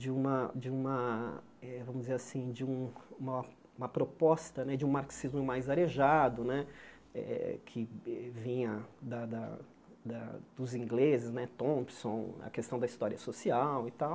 De uma de uma eh vamos dizer assim de um uma proposta né de um marxismo mais arejado né, que vinha da da da dos ingleses né, Thompson, a questão da história social e tal.